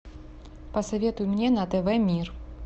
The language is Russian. посоветуй мне на тв мир